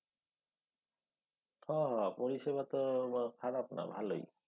হ হ পরিষেবা তো খারাপ না। ভালই।